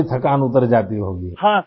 ساری تھکن اتر جاتی ہوگی؟